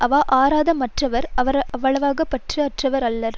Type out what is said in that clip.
அவா அறாத மற்றவர் அவ்வளவாக பற்று அற்றவர் அல்லர்